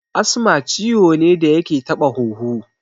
Asma ciwo ne da yake taɓa huhu